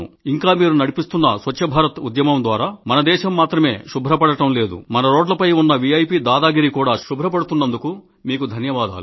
ఇంకా మీరు నడిపిస్తున్న స్వచ్ఛ భారత్ ఉద్యమం ద్వారా మన దేశం మాత్రమే శుభ్రపడడం లేదు మన రోడ్లపై ఉన్న విఐపి దాదాగిరీ కూడా శుభ్రపడుతున్నందుకు కూడా మీకు ధన్యవాదాలు